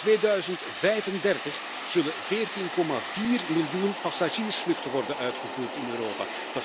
In 2035 zullen 14,4 miljoen passagiersvluchten worden uitgevoerd in Europa.